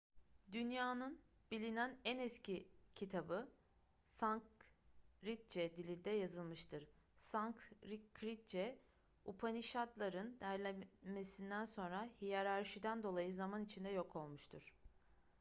dünyanın bilinen en eski kitabı sanskritçe dilinde yazılmıştır sanskritçe upanişad'ların derlenmesinden sonra hiyerarşiden dolayı zaman içinde yok olmuştur